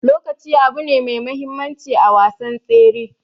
Lokaci abune me muhimmancin a wasan tsere.